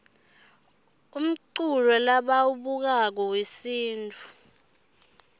umculo lebauwablako yuesintfu